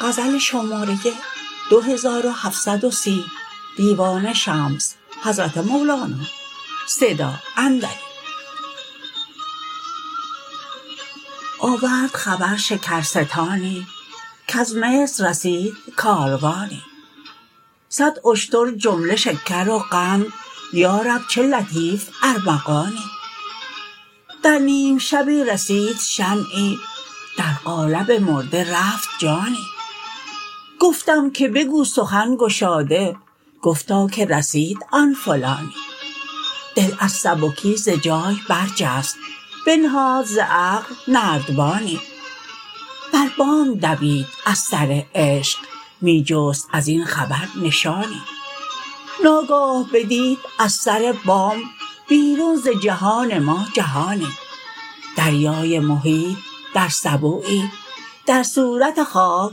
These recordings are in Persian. آورد خبر شکرستانی کز مصر رسید کاروانی صد اشتر جمله شکر و قند یا رب چه لطیف ارمغانی در نیم شبی رسید شمعی در قالب مرده رفت جانی گفتم که بگو سخن گشاده گفتا که رسید آن فلانی دل از سبکی ز جای برجست بنهاد ز عقل نردبانی بر بام دوید از سر عشق می جست از این خبر نشانی ناگاه بدید از سر بام بیرون ز جهان ما جهانی دریای محیط در سبویی در صورت خاک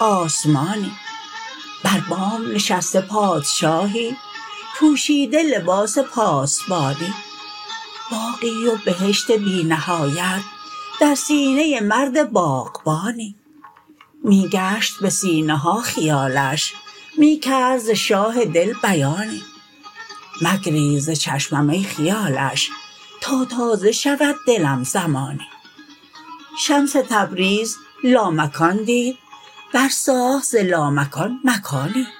آسمانی بر بام نشسته پادشاهی پوشیده لباس پاسبانی باغی و بهشت بی نهایت در سینه مرد باغبانی می گشت به سینه ها خیالش می کرد ز شاه دل بیانی مگریز ز چشمم ای خیالش تا تازه شود دلم زمانی شمس تبریز لامکان دید برساخت ز لامکان مکانی